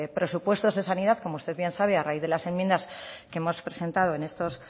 presupuestos de sanidad como usted bien sabe a raíz de las enmiendas que hemos presentado en estos